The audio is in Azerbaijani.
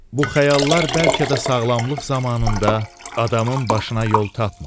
Bu xəyallar bəlkə də sağlamlıq zamanında adamın başına yol tapmır.